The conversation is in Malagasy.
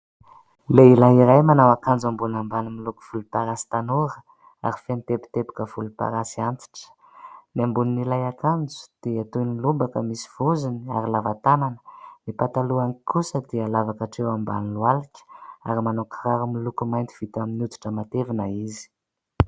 Lehilahy iray manao akanjo ambony ambany miloko volomparasy tanora, ary feno teboteboka volomparasy antitra. Ny ambon'ilay akanjo, dia toy ny lobaka misy vozony ary lava tanana ; ny patalohany kosa dia lava k'atreo ambany lohalika. Ary manao kiraro miloko mainty, vita amin'ny hoditra matevina izy.